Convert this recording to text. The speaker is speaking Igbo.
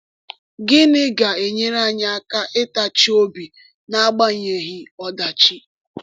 Gịnị ga-enyere anyị aka ịtachi obi n’agbanyeghị ọdachi?